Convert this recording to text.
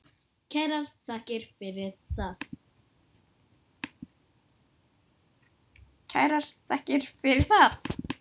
Kærar þakkir fyrir það.